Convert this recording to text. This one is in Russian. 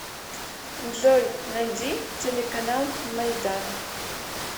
джой найди телеканал майдан